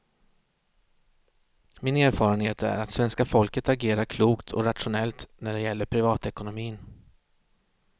Min erfarenhet är att svenska folket agerar klokt och rationellt när det gäller privatekonomin.